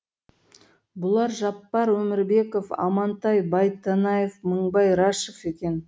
бұлар жаппар өмірбеков амантай байтанаев мыңбай рәшев екен